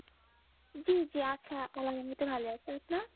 জি জি আছে মতো ভালো আছিস তো